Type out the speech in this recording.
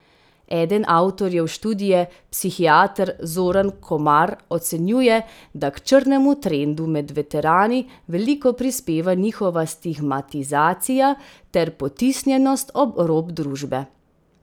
Eden avtorjev študije, psihiater Zoran Komar ocenjuje, da k črnemu trendu med veterani veliko prispeva njihova stigmatizacija ter potisnjenost ob rob družbe.